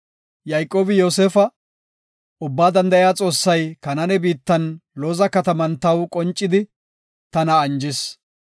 Yayqoobi Yoosefa, “Ubbaa Danda7iya Xoossay Kanaane biittan Looza kataman taw qoncidi, tana anjis.